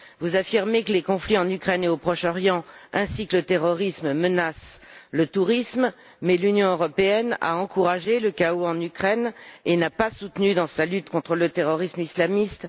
Vous affirmez que les conflits en Ukraine et au Proche Orient ainsi que le terrorisme menacent le tourisme, mais l'Union européenne a encouragé le chaos en Ukraine et n'a pas soutenu la Syrie dans sa lutte contre le terrorisme islamiste.